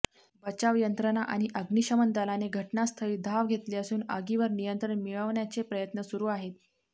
बचाव यंत्रणा आणि अग्निशमन दलाने घटनास्थळी धाव घेतली असून आगीवर नियंत्रण मिळवण्याचे प्रयत्न सुरू आहेत